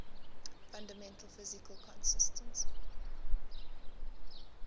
fundamental physical constants